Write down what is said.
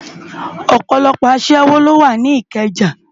Òpòlòpò aṣèwó ló wá ni Ikeja